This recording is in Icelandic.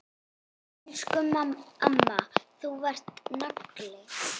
Elsku amma, þú varst nagli.